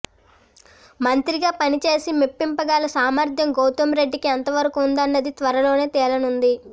మంత్రిగా పనిచేసి మెప్పింగల సామర్ధ్యం గౌతమ్ రెడ్డికి ఎంతవరకూ ఉందన్నది త్వరలోనే తేలనుంది